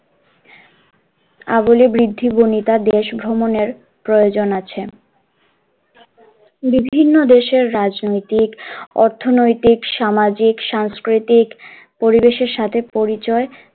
দেশ ভ্রমনের প্রয়োজন আছে, বিভিন্ন দেশের রাজনৈতিক অর্থনৈতিক সামাজিক সাংস্কৃতিক পরিবেশের সঙ্গে পরিচয়,